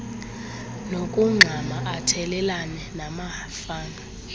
nokugxama athelelane namafama